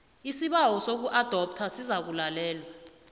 isibawo sokuadoptha sizakulalelwa